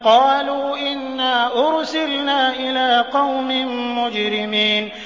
قَالُوا إِنَّا أُرْسِلْنَا إِلَىٰ قَوْمٍ مُّجْرِمِينَ